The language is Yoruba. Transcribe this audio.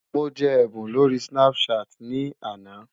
Mo jẹ ẹ̀bùn lórí Snapchat ní àná.